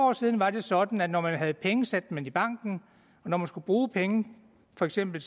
år siden var det sådan at når man havde penge satte man dem i banken og når man skulle bruge penge for eksempel